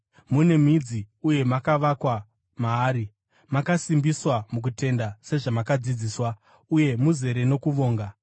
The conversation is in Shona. mune midzi uye makavakwa maari, makasimbiswa mukutenda sezvamakadzidziswa, uye muzere nokuvonga.